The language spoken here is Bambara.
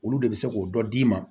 Olu de bɛ se k'o dɔ d'i ma